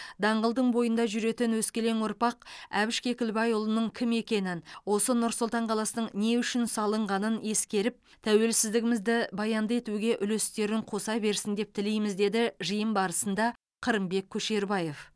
даңғылдың бойында жүретін өскелең ұрпақ әбіш кекілбайұлының кім екенін осы нұр сұлтан қаласының не үшін салынғанын ескеріп тәуелсіздігімізді баянды етуге үлестерін қоса берсін деп тілейміз деді жиын барысында қырымбек көшербаев